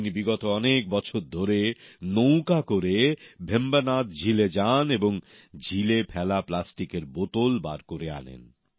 তিনি বিগত কয়েক বছর ধরে নৌকা করে ভেম্বানাদ ঝিলে যান এবং ঝিলে ফেলা প্লাস্টিকের বোতল বার করে আনেন